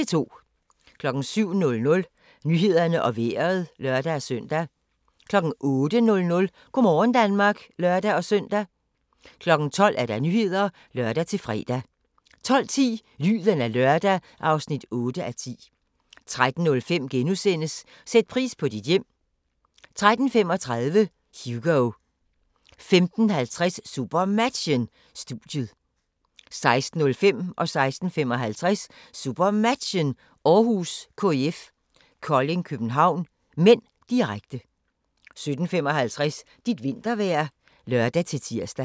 07:00: Nyhederne og Vejret (lør-søn) 08:00: Go' morgen Danmark (lør-søn) 12:00: Nyhederne (lør-fre) 12:10: Lyden af lørdag (8:10) 13:05: Sæt pris på dit hjem * 13:35: Hugo 15:50: SuperMatchen: Studiet 16:05: SuperMatchen: Århus - KIF Kolding København (m), direkte 16:55: SuperMatchen: Århus - KIF Kolding København (m), direkte 17:55: Dit vintervejr (lør-tir)